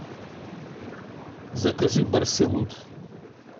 закажи барселут